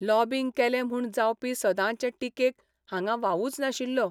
Lobbying केलें म्हूण जावपी सदांचे टिकेक हांगां वावूच नाशिल्लो.